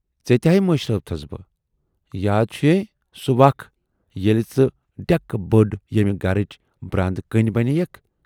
ژے تہِ ہاے مٔشرٲوتِھیٚس بہٕ، یاد چھُ یےَ سُہ وَق ییلہِ ژٕ ڈٮ۪کہٕ بٔڈ ییمہِ گَرٕچ براندٕ کٔنۍ بنے یکھ۔